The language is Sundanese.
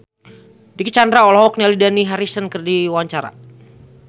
Dicky Chandra olohok ningali Dani Harrison keur diwawancara